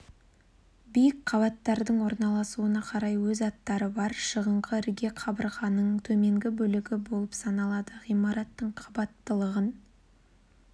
биік қабаттардың орналасуына қарай өз аттары бар шығыңқы ірге қабырғаның төменгі бөлігі болып саналады ғимараттың қабаттылығын